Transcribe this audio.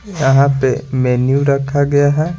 यहाँ पे मेन्यू रखा गया है।